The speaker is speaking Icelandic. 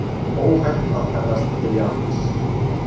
Óhætt að ferðast til Japans